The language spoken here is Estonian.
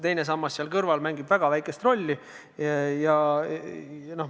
Teine sammas seal kõrval mängib väga väikest rolli.